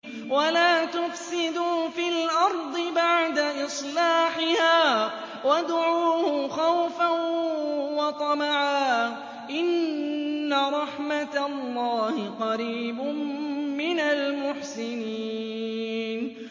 وَلَا تُفْسِدُوا فِي الْأَرْضِ بَعْدَ إِصْلَاحِهَا وَادْعُوهُ خَوْفًا وَطَمَعًا ۚ إِنَّ رَحْمَتَ اللَّهِ قَرِيبٌ مِّنَ الْمُحْسِنِينَ